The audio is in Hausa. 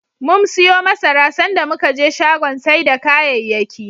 Mum siyo masara, sanda muka je shagon sai da kayayyaki.